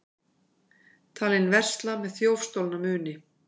Talinn versla með þjófstolna muni